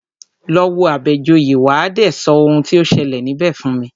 Lọ wo Àbẹ̀joyè, wà á dé sọ oun tí o ṣẹlẹ̀ níbẹ̀ fún mi!